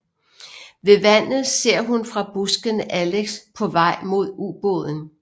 Ved vandet ser hun fra buskene Alex på vej mod ubåden